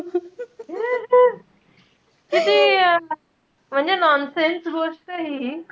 किती म्हणजे nonsense गोष्टय हि.